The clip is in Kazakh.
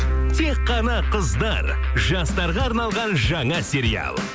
тек қана қыздар жастарға арналған жаңа сериал